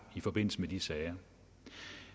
i forbindelse med de sager